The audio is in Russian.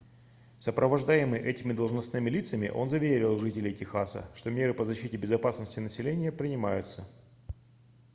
сопровождаемый этими должностными лицами он заверил жителей техаса что меры по защите безопасности населения принимаются